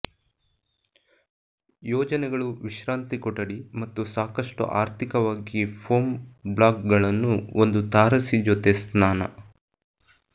ಯೋಜನೆಗಳು ವಿಶ್ರಾಂತಿ ಕೊಠಡಿ ಮತ್ತು ಸಾಕಷ್ಟು ಆರ್ಥಿಕವಾಗಿ ಫೋಮ್ ಬ್ಲಾಕ್ಗಳನ್ನು ಒಂದು ತಾರಸಿ ಜೊತೆ ಸ್ನಾನ